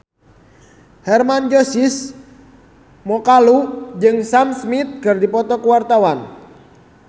Hermann Josis Mokalu jeung Sam Smith keur dipoto ku wartawan